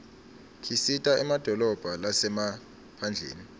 kisita emadolobha lasemaphndleni